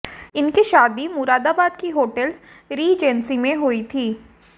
इनकी शादी मुरादाबाद की होटल रिजेंसी में हुई थी